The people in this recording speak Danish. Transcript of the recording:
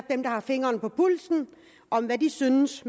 dem der har fingeren på pulsen synes